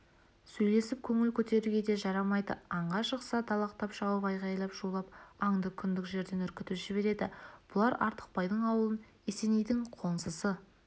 сөйлесіп көңіл көтеруге де жарамайды аңға шықса далақтап шауып айғайлап шулап аңды күндік жерден үркітіп жібереді бұлар артықбайдың ауылын есенейдің қоңсысы